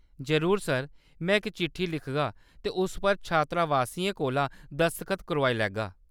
जरूर सर, में इक चिट्ठी लिखगा ते उस पर छात्रावासियें कोला दसख्त करोआई लैगा।